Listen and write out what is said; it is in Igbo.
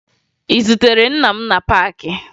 Ị zutere nna m na paakị?